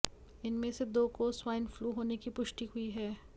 इनमें से दो को स्वाइन फ्लू होने की पुष्टि हुई है